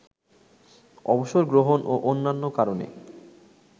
অবসর গ্রহণ ও অন্যান্য কারণে